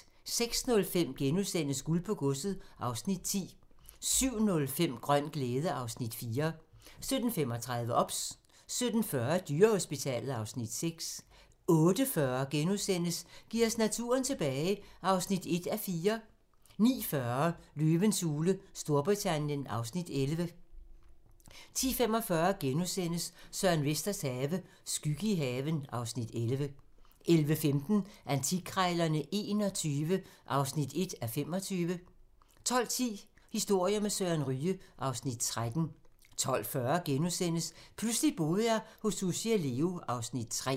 06:05: Guld på godset (Afs. 10)* 07:05: Grøn glæde (Afs. 4) 07:35: OBS 07:40: Dyrehospitalet (Afs. 6) 08:40: Giv os naturen tilbage (1:4)* 09:40: Løvens hule Storbritannien (Afs. 11) 10:45: Søren Vesters Have - skygge i haven (Afs. 11)* 11:15: Antikkrejlerne XXI (1:25) 12:10: Historier med Søren Ryge (Afs. 13) 12:40: Pludselig boede jeg hos Sussi og Leo (Afs. 3)*